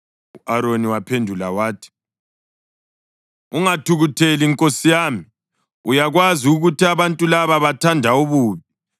U-Aroni waphendula wathi, “Ungathukutheli nkosi yami. Uyakwazi ukuthi abantu laba bathanda ububi.